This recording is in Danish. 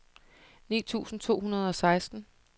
ni tusind to hundrede og seksten